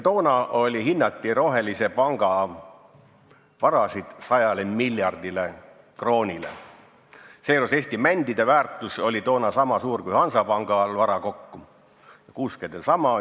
Toona hinnati rohelise panga varasid 100 miljardile kroonile, seejuures Eesti mändide väärtus oli sama suur kui Hansapangal vara kokku, kuuskedel sama.